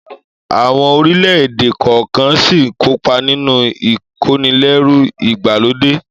Àwọn orílẹ̀-èdè kọ̀ọ̀kan ṣì ń kópa nínú ìkónilẹ́rú ìgbàlódé